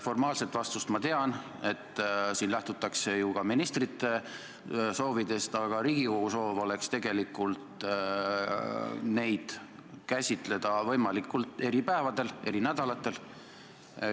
Formaalset vastust ma tean, seda, et siin lähtutakse ju ka ministrite soovidest, aga Riigikogu soov oleks tegelikult käsitleda arupärimisi võimaluse korral eri päevadel, eri nädalatel.